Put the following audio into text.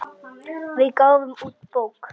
Við gáfum út bók.